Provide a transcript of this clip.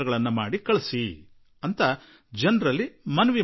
ಈ ಕಿರುಚಿತ್ರವನ್ನು ಭಾರತ ಸರ್ಕಾರಕ್ಕೆ ಕಳುಹಿಸಿಕೊಡಿ